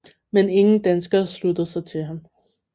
Men ingen danskere sluttede sig til ham